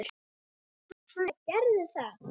Ha, gerðu það.